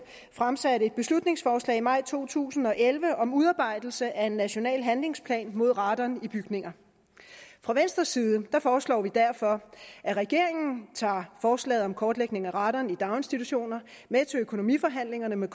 fremsatte et beslutningsforslag i maj to tusind og elleve om udarbejdelse af en national handlingsplan mod radon i bygninger fra venstres side foreslår vi derfor at regeringen tager forslaget om kortlægning af radon i daginstitutioner med til økonomiforhandlingerne med